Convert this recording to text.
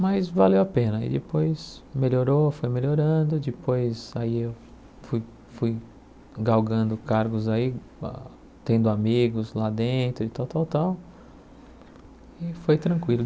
mas valeu a pena e depois melhorou, foi melhorando, depois aí eu fui fui galgando cargos aí, tendo amigos lá dentro e tal, tal, tal e foi tranquilo.